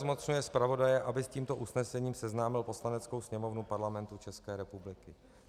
Zmocňuje zpravodaje, aby s tímto usnesením seznámil Poslaneckou sněmovnu Parlamentu České republiky.